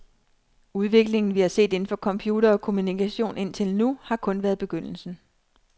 Udviklingen, vi har set inden for computere og kommunikation indtil nu, har kun været begyndelsen.